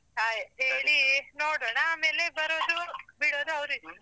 Hi ಹೇಳಿ ನೋಡೋಣ ಆಮೇಲೆ ಬರೋದು ಬಿಡೋದು ಅವರಿಷ್ಟ.